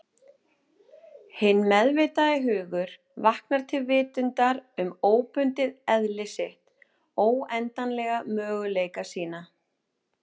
Hinn meðvitaði hugur vaknar til vitundar um óbundið eðli sitt, óendanlega möguleika sína.